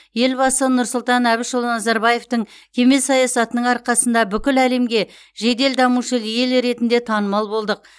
елбасы нұрсұлтан әбішұлы назарбаевтың кемел саясатының арқасында бүкіл әлемге жедел дамушы ел ретінде танымал болдық